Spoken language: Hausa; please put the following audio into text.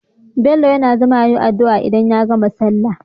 Bello yAna zama yayi adu'a idan ya gama sallah